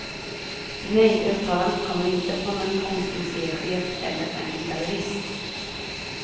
Nej, uttalandet kommer inte från en konstmuseichef eller en gallerist.